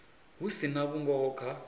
hu si na vhungoho kha